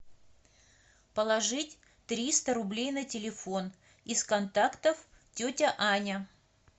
положить триста рублей на телефон из контактов тетя аня